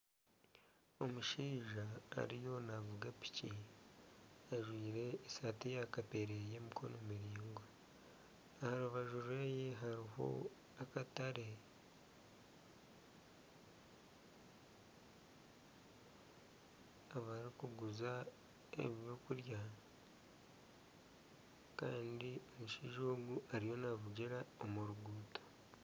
Omushaija ariyo navuga piki ajwaire esaati ya kapere eyemikono miraingwa, aha rubaju rweye hariho akatare ,ahubarikuguriza ebyokurya Kandi omushaija ogu ariyo navugira omu ruguuto